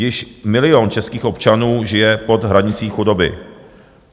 Již milion českých občanů žije pod hranicí chudoby.